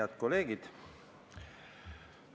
Head kolleegid!